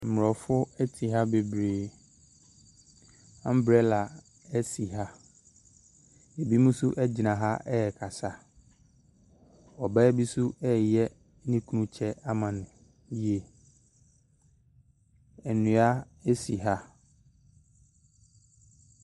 Mmrɔfo ɛte ha bebree. Ambrɛla ɛsi ha. Ɛbi mo so ɛgyina ha ɛɛkasa. Ɔbaa bi so ɛɛyɛ ne kunu kyɛ ama no yie. Ɛnua ɛsi ha.